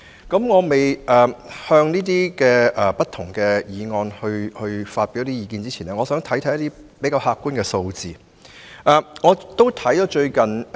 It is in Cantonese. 在我就不同的議案和修正案發表意見前，我想先看看比較客觀的數字。